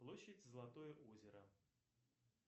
площадь золотое озеро